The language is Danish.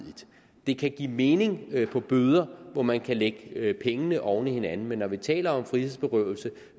det kan give mening med bøder hvor man kan lægge pengene oven i hinanden men når vi taler om frihedsberøvelse